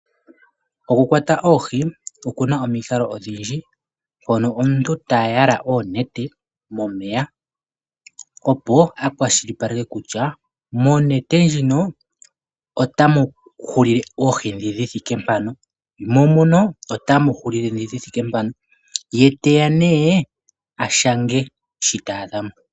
Oku kwata oohi okuna omikalo odhindji , mpono omuntu ta yala onete momeya opo a kwashilipaleke kutya monete otamu hulile oohi ndhi dhi thike mpano, mo muno otamu hulile ndhi dhi thike mpano, ye teya nduno a shange shi ta adha mo.